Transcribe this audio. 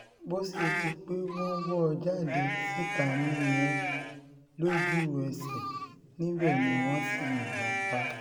bó um ṣe di pé wọ́n wọ́ ọ jáde síta nìyẹn lójú-ẹsẹ̀ níbẹ̀ ni um wọ́n sì yìnbọn pa á